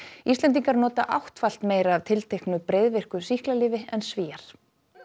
Íslendingar nota áttfalt meira af tilteknu breiðvirku sýklalyfi en Svíar